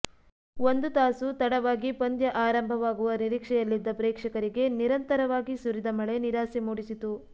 ಒಂದು ತಾಸು ತಡವಾಗಿ ಪಂದ್ಯ ಆರಂಭವಾಗುವ ನಿರೀಕ್ಷೆಯಲ್ಲಿದ್ದ ಪ್ರೇಕ್ಷಕರಿಗೆ ನಿರಂತರವಾಗಿ ಸುರಿದ ಮಳೆ ನಿರಾಸೆ ಮೂಡಿಸಿತು